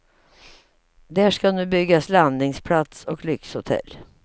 Där ska nu byggas landningsplats och lyxhotell.